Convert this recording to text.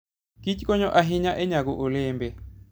kich konyo ahinya e nyago olembe.